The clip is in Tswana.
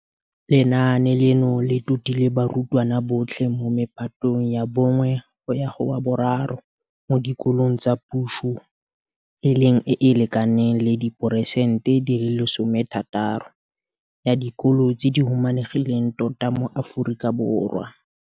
Lenaane leno le totile barutwana botlhe mo mephatong ya 1 go ya go wa bo 3 mo dikolong tsa puso, e leng e e lekanang le diperesente 60 ya dikolo tse di humanegileng tota mo Aforika Borwa.